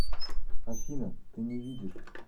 афина ты не видишь